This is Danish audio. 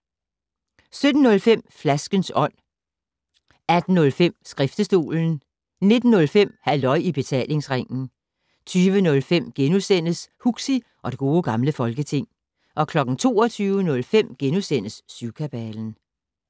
17:05: Flaskens Ånd 18:05: Skriftestolen 19:05: Halløj i Betalingsringen 20:05: Huxi og det Gode Gamle Folketing * 22:05: Syvkabalen *